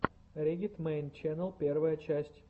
риггет мэйн ченнэл первая часть